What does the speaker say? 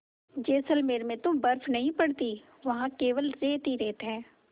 जैसलमेर में तो बर्फ़ नहीं पड़ती वहाँ केवल रेत ही रेत है